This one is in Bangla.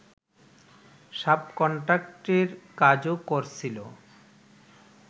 সাব-কন্ট্রাক্টের কাজও করছিল